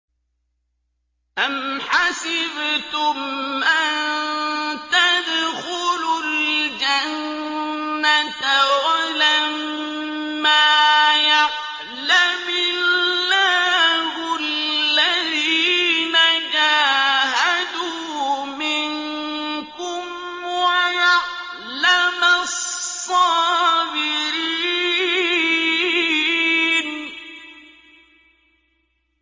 أَمْ حَسِبْتُمْ أَن تَدْخُلُوا الْجَنَّةَ وَلَمَّا يَعْلَمِ اللَّهُ الَّذِينَ جَاهَدُوا مِنكُمْ وَيَعْلَمَ الصَّابِرِينَ